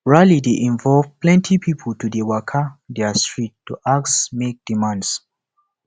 rally de involve pilenty pipo to de waka their street to ask make demands